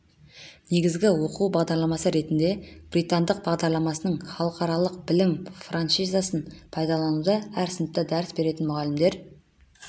негізгі оқыту бағдарламасы ретінде британдық бағдарламасының халықаралық білім франшизасын пайдалануда әр сыныпта дәріс беретін мұғалімдер